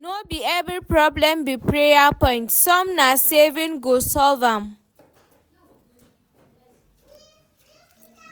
No be every problem be prayer point, some na savings go solve am.